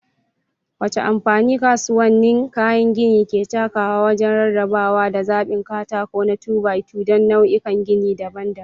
Wace amfani kasuwannin kayan gini ke takawa wajen rarrabawa da zaɓin katako na 2-by-2 don nau'ikan gini daban-daban?